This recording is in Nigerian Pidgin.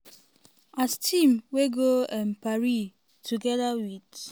as team wey go um paris togeda wit